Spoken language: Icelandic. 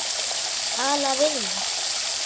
Tala við mig?